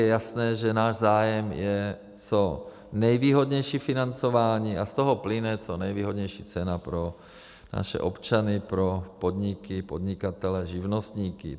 Je jasné, že náš zájem je co nejvýhodnější financování, a z toho plyne co nejvýhodnější cena pro naše občany, pro podniky, podnikatele, živnostníky.